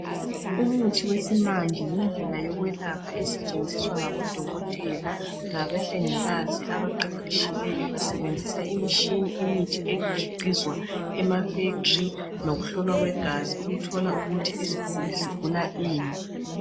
Umuthi wesimanje yindlela yokwelapha esetshenziswa ngabodokotela labahlengikazi abaqeqeshileyo besebenzisa imishini imithi egiqizwa ema fekitiri lokuhlolwa kwegazi ukuthola ukuthi isiguli sigula ini.